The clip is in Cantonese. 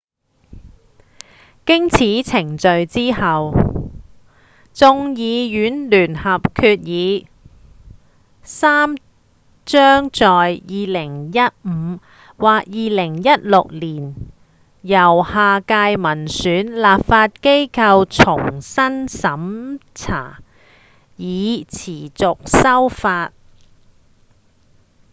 經此程序之後眾議院聯合決議3將在2015或2016年由下屆民選立法機構重新審查以持續修法